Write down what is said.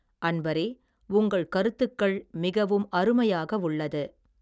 அன்பரே உங்கள் கருத்துக்கள் மிகவும் அருமையாகவுள்ளது.